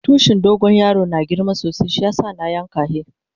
Tushin dogo yaron yana girma sosai shiyasa na yanka hi.